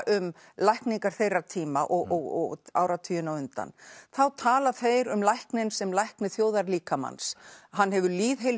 um lækningar þeirra tíma og áratugina á undan þá tala þeir um lækninn sem lækni þjóðarlíkamans hann hefur